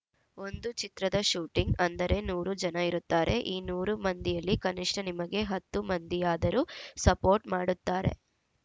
ಒಂದು ಚಿತ್ರದ ಶೂಟಿಂಗ್‌ ಅಂದರೆ ನೂರು ಜನ ಇರುತ್ತಾರೆ ಈ ನೂರು ಮಂದಿಯಲ್ಲಿ ಕನಿಷ್ಠ ನಿಮಗೆ ಹತ್ತು ಮಂದಿಯಾದರೂ ಸಪೋರ್ಟ್‌ ಮಾಡುತ್ತಾರೆ